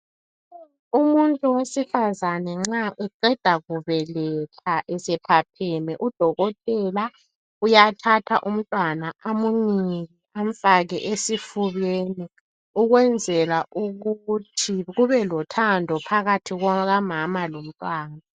Umuntu wesifazane nxa uqeda kubeletha nje esephapheme, udokotela uyathatha umntwana amunike amufake esifubeni ukwenzela ukuthi kubelothando phakathi kukamama lomntwana.